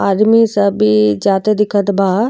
आदमी सबी जाते दिखत बा।